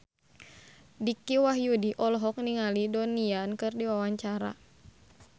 Dicky Wahyudi olohok ningali Donnie Yan keur diwawancara